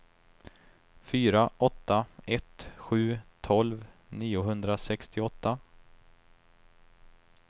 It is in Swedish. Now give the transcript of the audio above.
fyra åtta ett sju tolv niohundrasextioåtta